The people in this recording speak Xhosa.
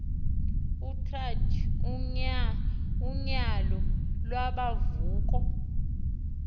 utrath unyauo lubunvoko